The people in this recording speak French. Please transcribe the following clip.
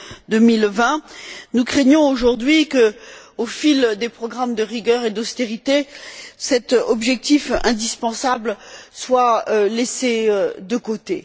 2020. Nous craignons aujourd'hui que, au fil des programmes de rigueur et d'austérité, cet objectif indispensable soit laissé de côté.